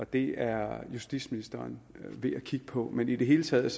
det er justitsministeren ved at kigge på men i det hele taget